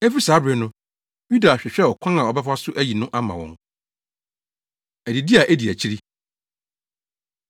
Efi saa bere no, Yuda hwehwɛɛ ɔkwan a ɔbɛfa so ayi no ama wɔn. Adidi A Edi Akyiri